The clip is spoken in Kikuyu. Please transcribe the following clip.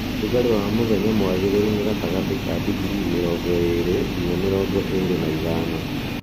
Ũrugarĩ wa mũthenya mwagĩrĩru nĩ gatagatĩinĩ ka digrii mĩrongo ĩli nginya mĩrongo ĩli na ithano